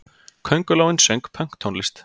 Köngulóin söng pönktónlist!